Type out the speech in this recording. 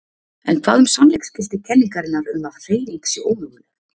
En hvað um sannleiksgildi kenningarinnar um að hreyfing sé ómöguleg?